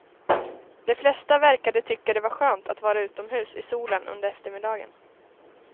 De flesta verkade tycka det var skönt att vara utomhus i solen under eftermiddagen.